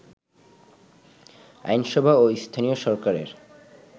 আইনসভা ও স্থানীয় সরকারের